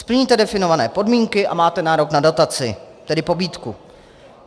Splníte definované podmínky a máte nárok na dotaci, tedy pobídku.